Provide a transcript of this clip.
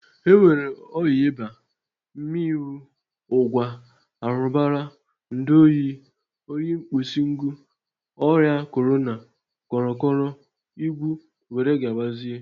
E nwere ọya ịba, mmịnwụ, ụgwa, arụbara, ndu oyi, oyi nkpusingu, ọya Korana, kọrọkọrọ, igwu were gabazia.